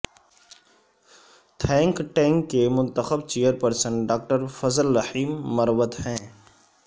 think tank کے منتخب chairperson doctor Fazal Rahim Marwat ہیں